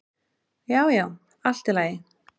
Já, já, allt í lagi